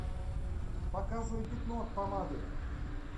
показывай пятно от помады